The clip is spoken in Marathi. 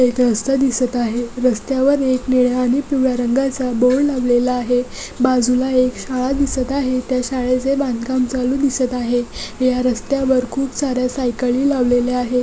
इथे रस्ता दिसत आहे. रस्त्यावर एक निळ्या आणि पिवळ्या रंगाचा बोर्ड लावलेला आहे. बाजूला एक शाळा दिसत आहे त्या शाळेचे बांधकाम चालू दिसत आहे. या रस्त्यावर खूप सार्‍या साईकली लावलेल्या आहे.